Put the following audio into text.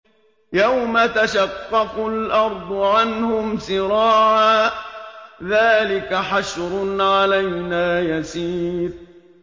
يَوْمَ تَشَقَّقُ الْأَرْضُ عَنْهُمْ سِرَاعًا ۚ ذَٰلِكَ حَشْرٌ عَلَيْنَا يَسِيرٌ